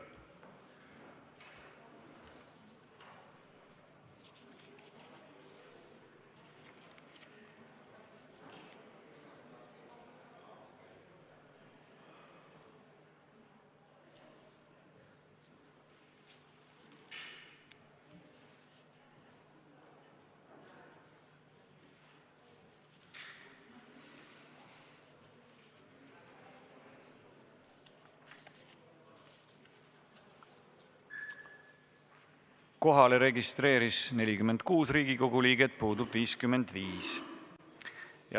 Kohaloleku kontroll Kohalolijaks registreeris end 46 Riigikogu liiget, puudub 55.